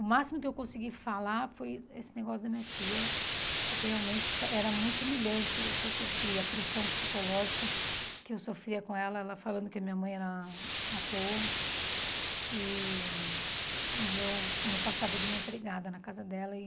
O máximo que eu consegui falar foi esse negócio da minha tia, porque realmente era muito humilhante o que eu sofria, a pressão psicológica que eu sofria com ela, ela falando que a minha mãe era à toa e e eu não passava de uma empregada na casa dela e